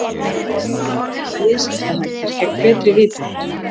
Vafasamir viðskiptahættir gegn betri vitund.